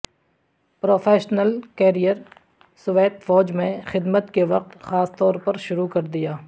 professional career Soviet فوج میں خدمت کے وقت خاص طور پر شروع کر دیا